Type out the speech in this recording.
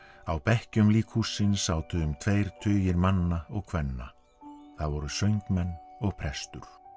á bekkjum líkhússins sátu um tveir tugir manna og kvenna það voru söngmenn og prestur